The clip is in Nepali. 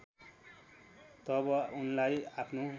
तब उनलाई आफ्नो